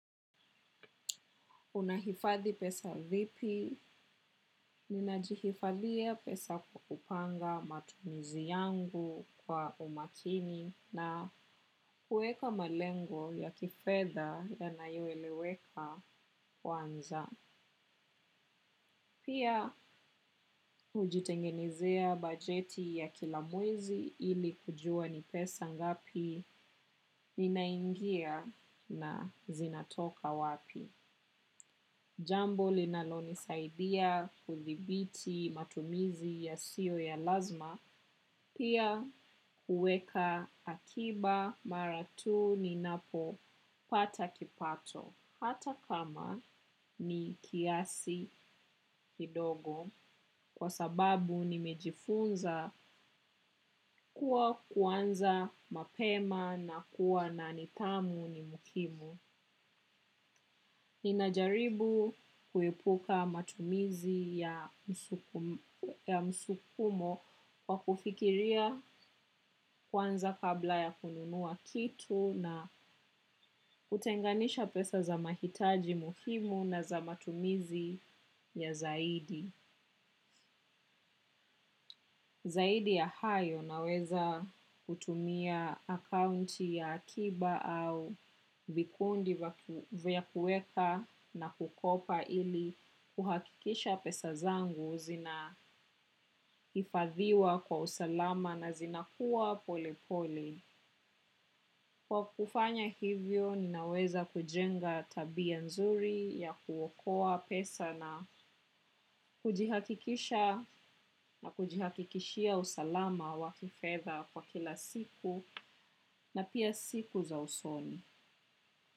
Unahifadhi pesa vipi, ninajihifadhia pesa kwa kupanga matumizi yangu kwa umakini na kueka malengo ya kifedha yanayoeleweka kwanza. Pia, hujitengenizea bajeti ya kila mwezi ili kujua ni pesa ngapi ninaingia na zinatoka wapi. Jambo linalonisaidia kuthibiti matumizi yasiyo ya lazima, pia huweka akiba mara tu ninapopata kipato. Hata kama ni kiasi kidogo kwa sababu nimejifunza kuwa kuanza mapema na kuwa na nidhamu ni muhimu. Ninajaribu kuepuka matumizi ya ya msukumo kwa kufikiria kwanza kabla ya kununua kitu na kutenganisha pesa za mahitaji muhimu na za matumizi ya zaidi. Zaidi ya hayo naweza kutumia akaunti ya akiba au vikundi vya kueka na kukopa ili kuhakikisha pesa zangu zinahifadhiwa kwa usalama na zinakuwa polepole. Kwa kufanya hivyo, ninaweza kujenga tabia nzuri ya kuokoa pesa na kujihakikisha na kujihakikishia usalama wa kifedha kwa kila siku na pia siku za usoni.